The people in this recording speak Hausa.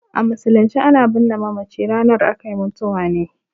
A musulunce a na birne mamaci ranar akai mutuwa ne